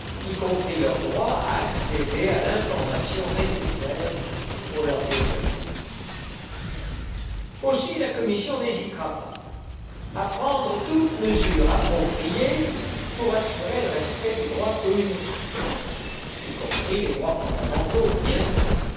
y compris leur droit à accéder à l'information nécessaire à leur développement. La Commission n'hésitera pas à prendre toute mesure appropriée pour assurer le respect du droit communautaire, y compris les droits fondamentaux, bien entendu.